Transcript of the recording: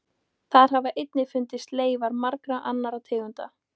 Þar hafa einnig fundist leifar margra annarra tegunda.